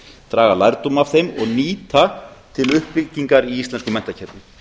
draga lærdóm af þeim og nýta til uppbyggingar í íslensku menntakerfi